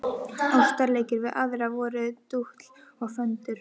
Ástarleikir við aðra voru dútl og föndur.